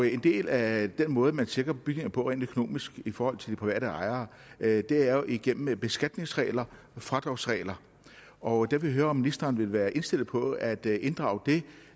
en del af den måde man sikrer bygningerne på rent økonomisk i forhold til de private ejere er jo igennem beskatningsregler og fradragsregler og der vil jeg høre om ministeren vil være indstillet på at inddrage